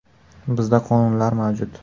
Bizda qonunlar mavjud.